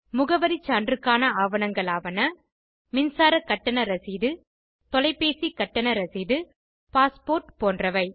முகவரி சான்றுக்கான ஆவணங்களாவன மின்சாரக் கட்டண ரசீது தொலைப்பேசி கட்டண ரசீது பாஸ்போர்ட் போன்றவை